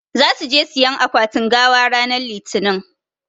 Zasu je siƴan akwatin gawa ranan litinin.